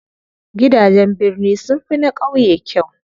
Gidajen birni sunfi na ƙauye kyau.